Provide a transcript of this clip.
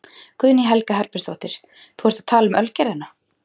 Guðný Helga Herbertsdóttir: Þú ert að tala um Ölgerðina?